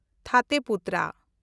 ᱛᱷᱟᱛᱮ ᱯᱩᱛᱷᱨᱟ